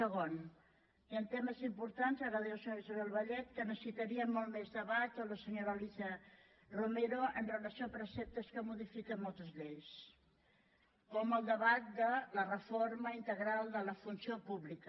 segon hi han temes importants ara ho deia la senyora isabel vallet en què necessitaríem molt més debat o la senyora alícia romero amb relació a preceptes que modifiquen moltes lleis com el debat de la reforma integral de la funció pública